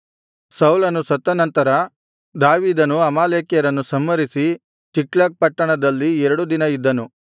ಸೌಲನು ಸತ್ತನಂತರ ದಾವೀದನು ಅಮಾಲೇಕ್ಯರನ್ನು ಸಂಹರಿಸಿ ಚಿಕ್ಲಗ್ ಪಟ್ಟಣದಲ್ಲಿ ಎರಡು ದಿನ ಇದ್ದನು